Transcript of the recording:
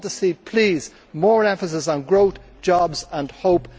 I want to see, please, more emphasis on growth, jobs and hope.